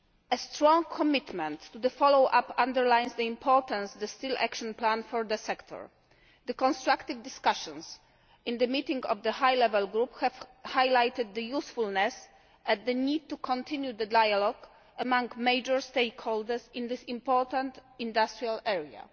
A strong commitment to follow up underlines the importance of the Steel Action Plan for the sector. The constructive discussions in the meeting of the High Level Group have highlighted the usefulness and the need to continue the dialogue among major stakeholders in this important industrial area.